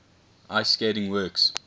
ice skating works